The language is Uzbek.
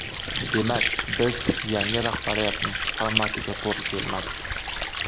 Demak, biz yangi rahbariyatning formatiga to‘g‘ri kelmadik.